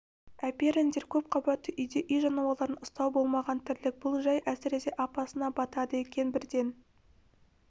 әперіңдер көп қабатты үйде үй жануарларын ұстау болмаған тірлік бұл жай әсіресе апасына батады екен бірден